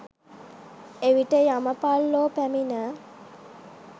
එවිට යමපල්ලෝ පැමිණ